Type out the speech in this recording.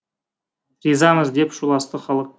ризамыз деп шуласты халық